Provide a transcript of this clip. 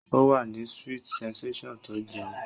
Ó wà ní sweet sensation tó ń jẹun